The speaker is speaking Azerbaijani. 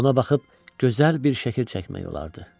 Ona baxıb gözəl bir şəkil çəkmək olardı.